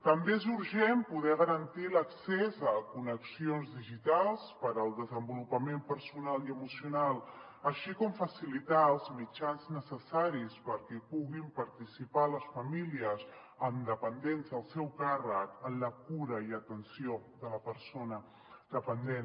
també és urgent poder garantir l’accés a connexions digitals per al desenvolupament personal i emocional així com facilitar els mitjans necessaris perquè puguin participar les famílies amb dependents al seu càrrec en la cura i atenció de la persona dependent